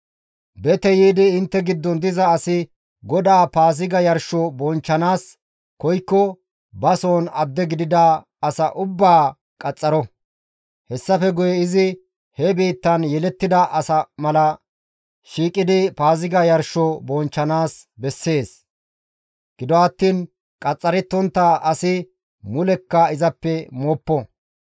«Bete yiidi intte giddon diza asi GODAA Paaziga yarsho bonchchanaas koykko ba soon adde gidida asa ubbaa qaxxaro. Hessafe guye izi he biittan yelettida asa mala shiiqidi Paaziga yarsho bonchchanaas bessees. Gido attiin qaxxarettontta asi mulekka izappe mooppo.